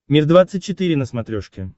мир двадцать четыре на смотрешке